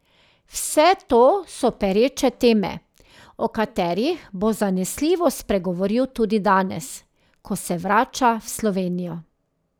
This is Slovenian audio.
Vse to so pereče teme, o katerih bo zanesljivo spregovoril tudi danes, ko se vrača v Slovenijo.